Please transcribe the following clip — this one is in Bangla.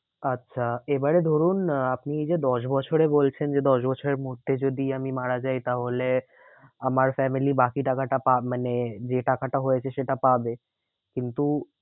আচ্ছা এবারে ধরুন আপনি এই যে দশ বছরে বলছেন যে দশ বছরের মধ্যে যদি আমি মারা যাই তাহলে আমার family বাকি টাকাটা পা মানে যে টাকাটা হয়েছে সেটা পাবে। কিন্তু